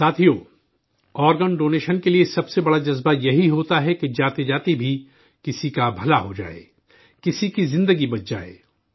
ساتھیو، organ donation کے لیے سب سے بڑا جذبہ یہی ہوتا ہے کہ جاتے جاتے بھی کسی کا بھلا ہو جائے، کسی کی زندگی بچ جائے